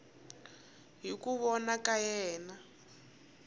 hi ku vona ka yena